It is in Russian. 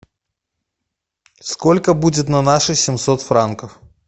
сколько будет на наши семьсот франков